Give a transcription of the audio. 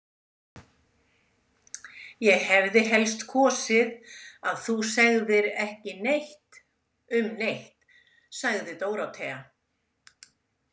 Ég hefði helst kosið að þú segðir ekki neitt um neitt, sagði Dórótea.